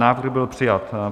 Návrh byl přijat.